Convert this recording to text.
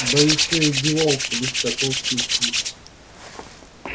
да ещё и девался без всякого вкуса